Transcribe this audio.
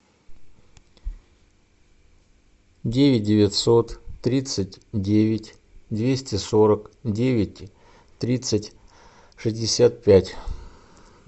девять девятьсот тридцать девять двести сорок девять тридцать шестьдесят пять